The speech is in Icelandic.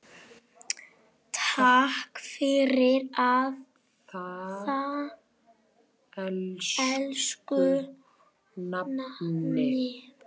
Takk fyrir það, elsku nafni.